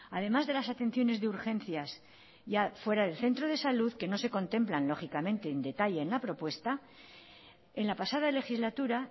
además de las atenciones de urgencias ya fuera del centro de salud que no se contemplan lógicamente en detalle en la propuesta en la pasada legislatura